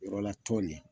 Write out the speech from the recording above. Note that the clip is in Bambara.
Yɔrɔla tɔn nin